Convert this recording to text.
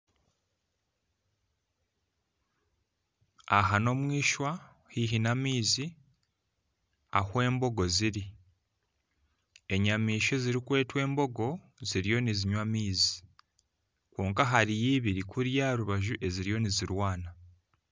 Aha n'omwishwa haihi n'amaizi ahu embogo ziri, enyamaishwa ezirikweta embogo ziriyo nizinywa amaizi kwonka hariyo ibiri kuriya aharubaju eziriyo nizirwana.